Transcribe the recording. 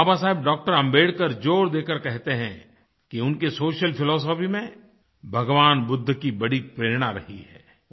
बाबा Saheb Dr Ambedkar जोर देकर कहते हैं कि उनकी सोशल फिलॉसफी में भगवान बुद्ध की बड़ी प्रेरणा रही है